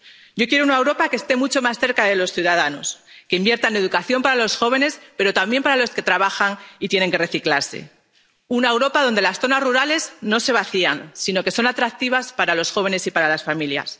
Yo quiero una Europa que esté mucho más cerca de los ciudadanos, que invierta en educación para los jóvenes, pero también para los que trabajan y tienen que reciclarse una Europa donde las zonas rurales no se vacían, sino que son atractivas para los jóvenes y para las familias